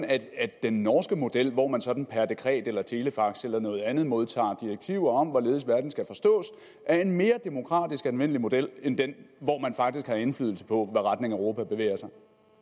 at den norske model hvor man sådan per dekret telefax eller noget andet modtager direktiver om hvorledes verden skal forstås er en mere demokratisk anvendelig model end den hvor man faktisk har indflydelse på hvad retning europa bevæger